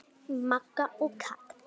Magga og Kata.